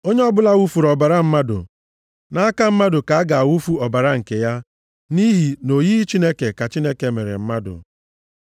“Onye ọbụla wufuru ọbara mmadụ, nʼaka mmadụ ka a ga-awụfu ọbara nke ya, nʼihi nʼoyiyi Chineke ka Chineke mere mmadụ.